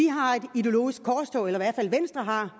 har et ideologisk korstog eller i hvert fald venstre har